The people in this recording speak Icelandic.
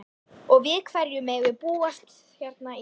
Og við hverju megum við búast hérna í kvöld?